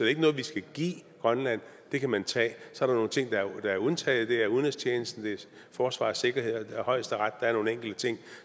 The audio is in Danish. ikke noget vi skal give grønland det kan man tage der er så nogle ting der er undtaget det er udenrigstjenesten forsvar og sikkerhed og højesteret der er nogle enkelte ting